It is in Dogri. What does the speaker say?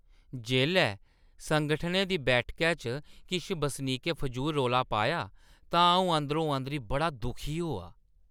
जेल्लै संगठनै दी बैठकै च किश बसनीकें फजूल रौला पाया तां अʼऊं अंदरो-अंदरी बड़ा दुखी होआ।